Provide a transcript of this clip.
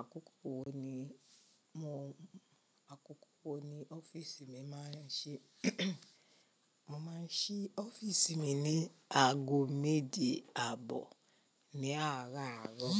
Àkókò wo ni mo, àkókò wo ni ọ́fíìsì mi máa ń ṣí Mo máa ń ṣí ọ́fíìsì mi ní aago méje àbọ̀ ní àárọ̀ àárọ̀.